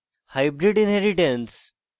hybrid inheritance